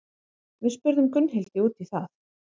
Við spurðum Gunnhildi út í það.